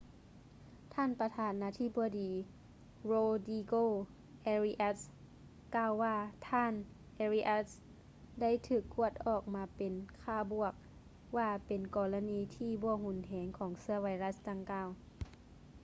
ທ່ານປະທານນາທິບໍດີ ໂຣດຼີໂກ ເອຣິອັດສ໌ rodrigo arias ກ່າວວ່າ ທ່ານ ເອຣິອັດສ໌ arias ໄດ້ຖືກກວດອອກມາເປັນຄ່າບວກ ວ່າເປັນກໍລະນີທີ່ບໍ່ຮຸນແຮງ ຂອງເຊື້ອໄວຣັດດັ່ງກ່າວ